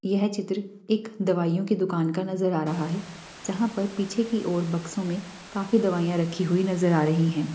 यह चित्र एक दवाइयों की दुकान का नजर आ रहा है जहाँ पर पीछे की और बक्सों में काफी दवाइयाँ रखी हुई नजर आ रही है।